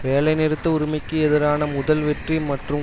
வேலை நிறுத்த உரிமைக்கு எதிரான முதல் வெற்றி மற்றும்